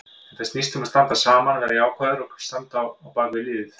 Þetta snýst um að standa saman, vera jákvæður og standa á bakvið liðið.